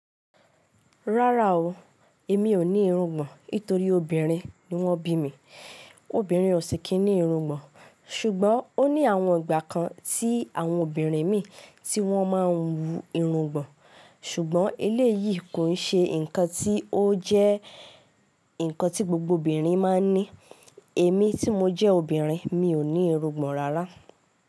Rárá o, èmi ò ní irungbọ̀n nítorí obìnrin ni wọ́n bí mi. Obìnrin ò sì kí ní irungbọ̀n, ṣùgbọ́n ó ní àwọn ìgbà kan tí àwọn obìnrin mì tí wọ́n máa ń wú irungbọ̀n. Ṣùgbọ́n eléyìí kò ń ṣe ǹkan tí ó jẹ́ ǹkan tí gbogbo obìnrin máa ń ní. Èmi tí mo jẹ́ obìnrin mi ò ní irungbọ̀n rárá.